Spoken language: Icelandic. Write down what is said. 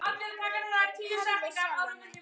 Herði sjálfa mig.